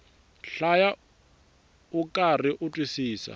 hlaya ukarhi u twisisa